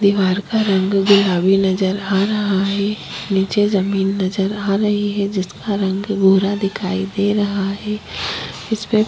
दीवार का रंग गुलाबी नज़र आ रहा है नीचे जमीन नज़र आ रही है जिसका रंग भूरा दिखाई दे रहा है जिसपे--